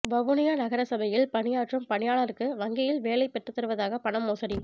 வவுனியா நகரசபையில் பணியாற்றும் பணியாளருக்கு வங்கியில் வேலை பெற்றுத்தருவதாக பணம் மோசடி